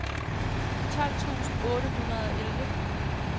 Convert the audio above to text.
tolv tusind otte hundrede og elleve